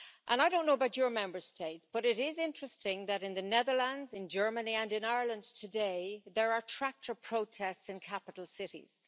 I don't know about your Member State, but it is interesting that in the Netherlands, in Germany and in Ireland today, there are tractor protests in capital cities.